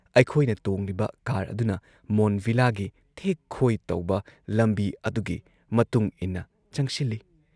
ꯑꯩꯈꯣꯏꯅ ꯇꯣꯡꯂꯤꯕ ꯀꯥꯔ ꯑꯗꯨꯅ ꯃꯣꯟꯗ ꯚꯤꯂꯥꯒꯤ ꯊꯦꯛ ꯈꯣꯏ ꯇꯧꯕ ꯂꯝꯕꯤ ꯑꯗꯨꯒꯤ ꯃꯇꯨꯡꯏꯟꯅ ꯆꯪꯁꯤꯜꯂꯤ ꯫